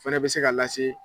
Fɛnɛ bɛ se ka lase